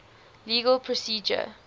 legal procedure